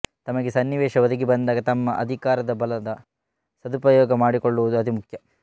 ತಮಗೆ ಸನ್ನಿವೇಶ ಒದಗಿಬಂದಾಗ ತಮ್ಮ ಅಧಿಕಾರದಬಲದ ಸದುಪಯೋಗ ಮಾಡಿಕೊಳ್ಳುವುದು ಅತಿಮುಖ್ಯ